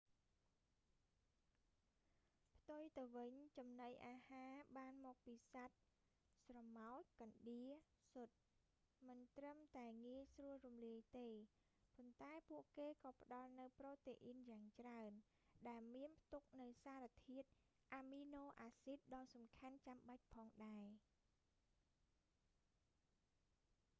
ផ្ទុយទៅវិញ ចំណីអាហារបានមកពីសត្វ ស្រមោច កណ្ដៀរ ស៊ុត មិនត្រឹមតែងាយស្រួលរំលាយទេ ប៉ុន្តែពួកគេក៏ផ្ដល់នូវប្រូតេអ៊ីនយ៉ាងច្រើន ដែលមានផ្ទុកនូវសារធាតុអាមីណូអាស៊ីតដ៏សំខាន់ចាំបាច់ផងដែរ